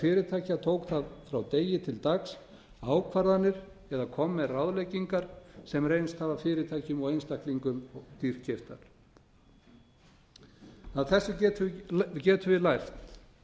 fyrirtækja tók það frá degi til dags ákvarðanir eða kom með ráðleggingar sem reynst hafa fyrirtækjum og einstaklingum dýrkeyptar af þessu getum við lært